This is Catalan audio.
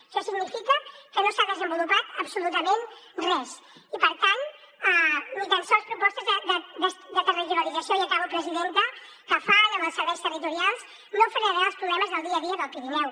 això significa que no s’ha desenvolupat absolutament res i per tant ni tan sols propostes de territorialització i acabo presidenta que fan amb els serveis territorials no frenaran els problemes del dia a dia del pirineu